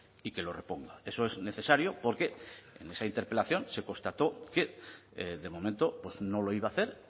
y que lo reponga eso es necesario porque en esa interpelación se constató que de momento pues no lo iba a hacer